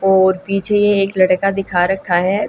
और पीछे ये एक लड़का दिखा रखा है।